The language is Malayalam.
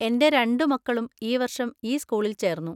എന്‍റെ രണ്ടു മക്കളും ഈ വർഷം ഈ സ്കൂളിൽ ചേർന്നു.